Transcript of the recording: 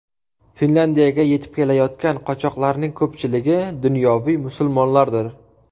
Finlyandiyaga yetib kelayotgan qochoqlarning ko‘pchiligi dunyoviy musulmonlardir.